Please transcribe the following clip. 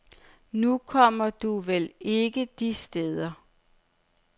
Nu kommer du vel ikke de steder.